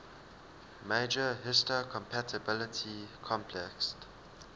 major histocompatibility complex